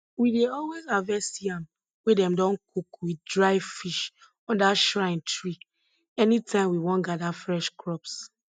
we dey always harvest yam wey dem don cook with dry fish under shrine tree anytime we wan gather fresh crops